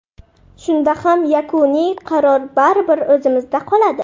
Shunda ham yakuniy qaror baribir o‘zimda qoladi.